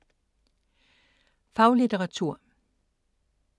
Faglitteratur